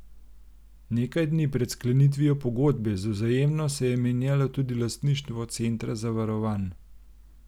Nekaj dni pred sklenitvijo pogodbe z Vzajemno se je menjalo tudi lastništvo Centra Zavarovanj.